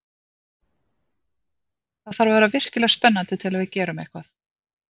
Það þarf að vera virkilega spennandi til að við gerum eitthvað.